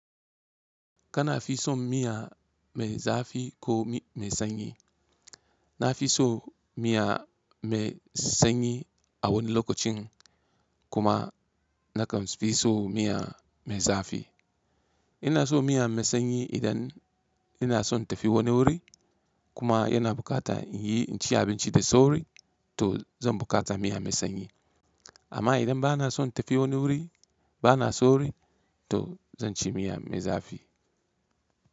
Kana fi son miya mai zafi ko mai sanyi? Na fi so miya mai sanyi a wani lokacin kuma na kan fi so miya mai zafi. Ina so miya mai sanyi idan ina son tafi wani wuri kuma yana bukata in yi, in ci abinci da sauri to zan bukata miya mai sanyi. Amma idan bana son tafi wani wuri bana sauri to zan ci miya mai zafi.